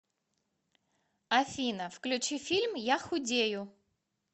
афина включи фильм я худею